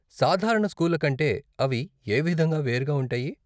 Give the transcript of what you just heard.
సాధారణ స్కూళ్ళ కంటే అవి ఏ విధంగా వేరుగా ఉంటాయి?